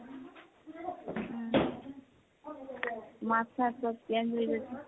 মাত চাত চ'ব change হৈ গৈছে।